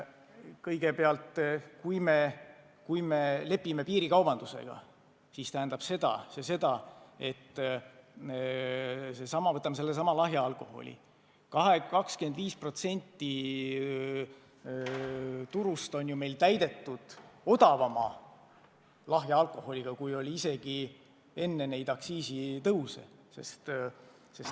Kõigepealt, mis puutub piirikaubandusse, siis võtame sellesama lahja alkoholi: 25% turust on meil täidetud odavama lahja alkoholiga, kui oli isegi enne neid aktsiisitõuse.